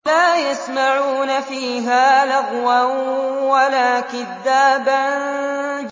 لَّا يَسْمَعُونَ فِيهَا لَغْوًا وَلَا كِذَّابًا